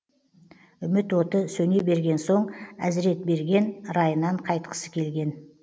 үміт оты сөне берген соң әзіретберген райынан қайтқысы келген